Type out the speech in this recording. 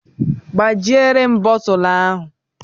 Gbajie m bottulu ahụ.